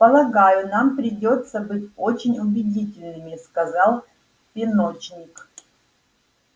полагаю нам придётся быть очень убедительными сказал пеночник